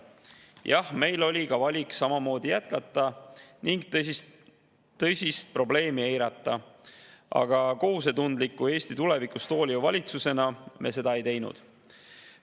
Jah, meil oli ka valik samamoodi jätkata ning tõsist probleemi eirata, aga kohusetundliku ja Eesti tulevikust hooliva valitsusena me seda ei teinud.